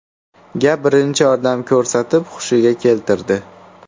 ga birinchi yordam ko‘rsatib, hushiga keltirdi.